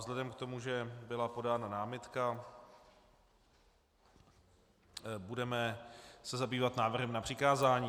Vzhledem k tomu, že byla podána námitka, budeme se zabývat návrhem na přikázání.